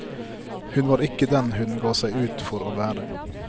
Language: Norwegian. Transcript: Hun var ikke den hun ga seg ut for å være.